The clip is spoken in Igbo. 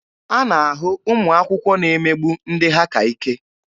A na-ahụ ụmụ akwụkwọ na-emegbu ndị ha ka ike.